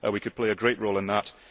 We could play a great role in that.